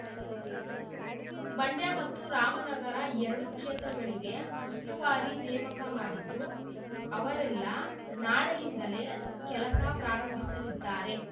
ಮಂಡ್ಯ ಮತ್ತು ರಾಮನಗರ ಎರಡೂ ಕ್ಷೇತ್ರಗಳಿಗೆ ಉಸ್ತುವಾರಿ ನೇಮಕ ಮಾಡಿದ್ದು ಅವರೆಲ್ಲ ನಾಳೆಯಿಂದಲೇ ಕೆಲಸ ಪ್ರಾರಂಭಿಸಲಿದ್ದಾರೆ